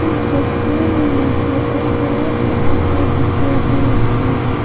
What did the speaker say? इस तस्वीर में मुझे एक बड़ा सा पहाड़ दिखाई दे रहा है।